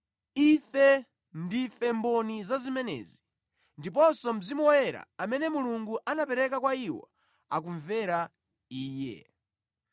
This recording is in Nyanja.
Ife ndife mboni za zimenezi, ndiponso Mzimu Woyera amene Mulungu anapereka kwa iwo akumvera Iye.”